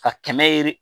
Ka kɛmɛ ye